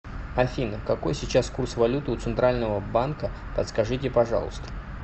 афина какой сейчас курс валюты у центрального банка подскажите пожалуйста